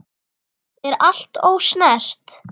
Er allt ósnert?